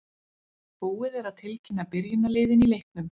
Búið er að tilkynna byrjunarliðin í leiknum.